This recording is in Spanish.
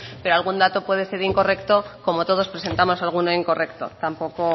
pero algún dato puede ser incorrecto como todos presentamos alguno incorrecto tampoco